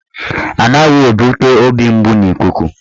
Anaghị ebute obi mgbu n'ikuku